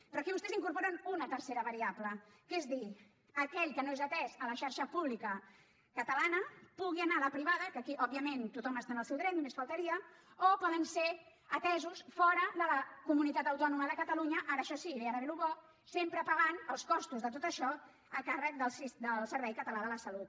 però aquí vostès incorporen una tercera variable que és dir aquell que no és atès a la xarxa pública catalana que pugui anar a la privada que aquí òbviament tothom està en el seu dret només faltaria o poden ser atesos fora de la comunitat autònoma de catalunya ara això sí i ara ve el més bo sempre pagant els costos de tot això a càrrec del servei català de la salut